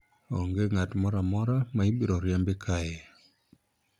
onge ng'at moro amora ma ibiro riembi kae